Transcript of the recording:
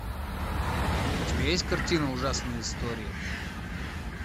у тебя есть картина ужасные истории